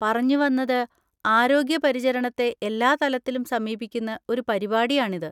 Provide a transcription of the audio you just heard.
പറഞ്ഞുവന്നത്, ആരോഗ്യ പരിചരണത്തെ എല്ലാ തലത്തിലും സമീപിക്കുന്ന ഒരു പരിപാടിയാണിത്.